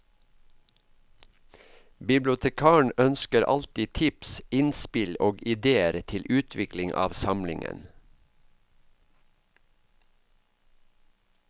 Bibliotekaren ønsker alltid tips, innspill og idéer til utvikling av samlingen.